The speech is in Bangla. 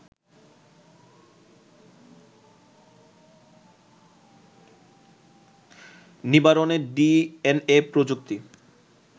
নিবারণে ডিএনএ প্রযুক্তি